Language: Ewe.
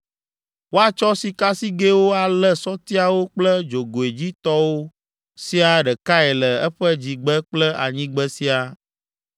Woatsɔ sikasigɛwo alé sɔtiawo kple dzogoedzitɔwo siaa ɖekae le eƒe dzigbe kple anyigbe siaa.